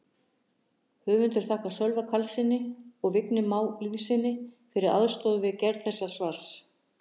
Höfundar þakkar Sölva Karlssyni og Vigni Má Lýðssyni fyrir aðstoð við gerð þessa svars.